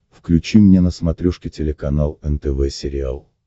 включи мне на смотрешке телеканал нтв сериал